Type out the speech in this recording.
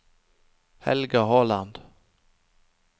Helga Håland